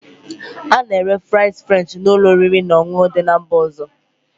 A na-ere fries French na ụlọ oriri na ọṅụṅụ dị na mba ọzọ